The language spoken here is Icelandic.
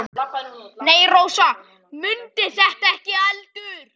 Nei, Rósa mundi þetta ekki heldur.